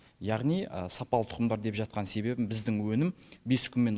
яғни сапалы тұқымдар деп жатқан себебім біздің өнім бес күн мен